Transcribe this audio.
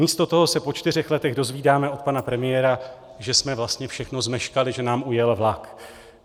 Místo toho se po čtyřech letech dozvídáme od pana premiéra, že jsme vlastně všechno zmeškali, že nám ujel vlak.